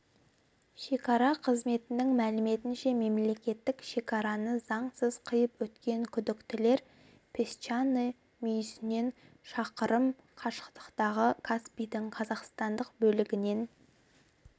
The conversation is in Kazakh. шекара қызметінің мәліметінше мемлекеттік шекараны заңсыз қиып өткен күдіктілер песчаный мүйісінен шақырым қашықтықтағы каспидің қазақстандық бөлігінен